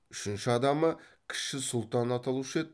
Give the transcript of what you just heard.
үшінші адамы кіші сұлтан аталушы еді